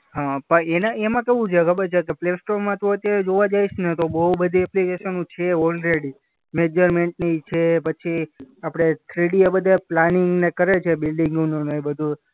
હા પણ એના એમાં કેવું છે ખબર છે કે પ્લેસ્ટોરમાં તો અત્યારે જોવા જઈશ ને તો બોઉ બધી એપ્લિકેશનો છે ઓલરેડી. મેજરમેન્ટની છે, પછી આપણે થ્રીડી આ બધા પ્લાનિંગને કરે છે બિલ્ડીંગનું ને આ બધું.